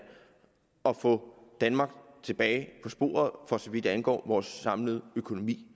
og få danmark tilbage på sporet for så vidt angår vores samlede økonomi